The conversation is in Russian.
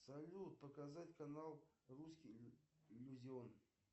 салют показать канал русский иллюзион